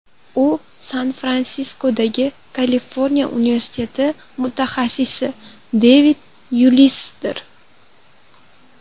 U San-Fransiskodagi Kaliforniya universiteti mutaxassisi Devid Yuliusdir.